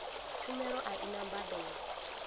tshumelo a i na mbadelo